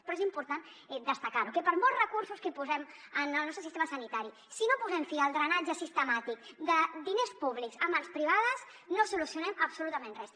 però és important destacar ho que per molts recursos que posem en el nostre sistema sanitari si no posem fi al drenatge sistemàtic de diners públics en mans privades no solucionem absolutament res